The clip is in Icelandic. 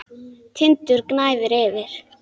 Tindur gnæfir yfir.